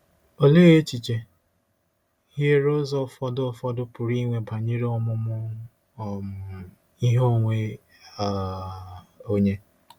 Olee echiche hiere ụzọ ụfọdụ ụfọdụ pụrụ inwe banyere ọmụmụ um ihe onwe um onye?